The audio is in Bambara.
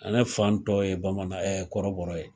A ne fan tɔw ye bamanan ye ɛɛ kɔrɔbɔrɔ ye.